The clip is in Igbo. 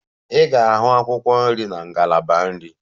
Ị ga-ahụ akwụkwọ nri na ngalaba nri.